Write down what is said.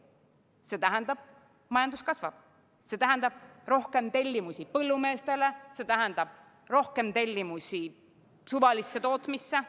See tähendab, et majandus kasvab, see tähendab rohkem tellimusi põllumeestele, see tähendab rohkem tellimusi suvalisele tootmisele.